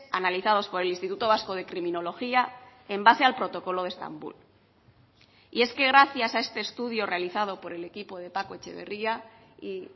analizados por el instituto vasco de criminología en base al protocolo de estambul y es que gracias a este estudio realizado por el equipo de paco etxeberria y